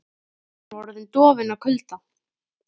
Hann var orðinn dofinn af kulda.